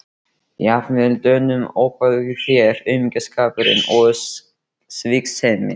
Jafnvel Dönum ofbauð í þér aumingjaskapurinn og sviksemin.